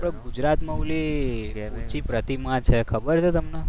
આપણે ગુજરાતમાં ઓલી ઊંચી પ્રતિમા છે ખબર છે તમને